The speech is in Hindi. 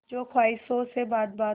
हो ख्वाहिशों से बात बात